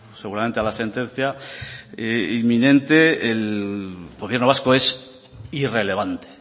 seguramente a la sentencia inminente el gobierno vasco es irrelevante